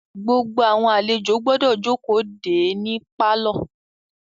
Gbogbo àlejò gbọ́dọ̀ jókòó de é ní pálọ̀.